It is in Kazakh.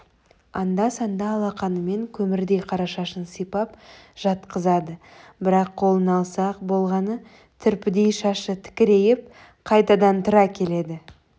анда-санда алақанымен көмірдей қара шашын сипап жатқызады бірақ қолын алса-ақ болғаны түрпідей шашы тікірейіп қайтадан тұра келеді